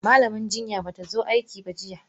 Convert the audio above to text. Malaman jinyan batazo aikiba jiya.